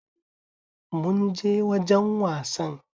Mun je wajan wasann